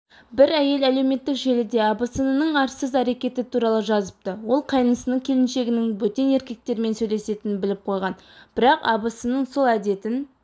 бір әйел әлеуметтік желіде абысынының арсыз әрекеті туралы жазыпты ол қайнысының келіншегінің бөтен еркектермен сөйлесетінін біліп қойған бірақ абысынының сол әдетін